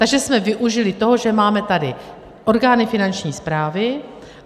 Takže jsme využili toho, že máme tady orgány Finanční správy.